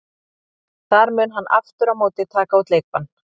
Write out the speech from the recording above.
Þar mun hann aftur á móti taka út leikbann.